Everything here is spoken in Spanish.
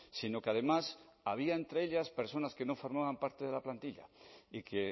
sino que además había entre ellas personas que no formaban parte de la plantilla y que